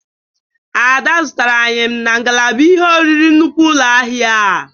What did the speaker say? Ada zụtara ayịm na ngalaba ihe oriri nnukwu ụlọ ahia a.